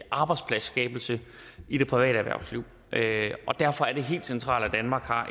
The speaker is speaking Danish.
arbejdspladsskabelse i det private erhvervsliv og derfor er det helt centralt at danmark har